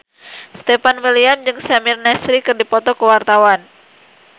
Stefan William jeung Samir Nasri keur dipoto ku wartawan